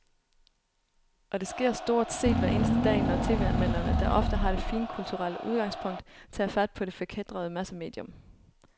Og det sker stort set hver eneste dag, når tv-anmelderne, der ofte har det finkulturelle udgangspunkt, tager fat på det forkætrede massemedium.